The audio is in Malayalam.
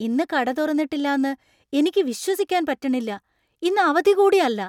ഇന്ന് കട തുറന്നിട്ടില്ലാന്ന് എനിക്ക് വിശ്വസിക്കാൻ പറ്റണില്ലാ! ഇന്ന് അവധി കൂടി അല്ല.